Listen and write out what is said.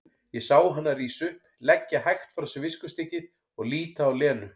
Ég sá hana rísa upp, leggja hægt frá sér viskustykkið og líta á Lenu.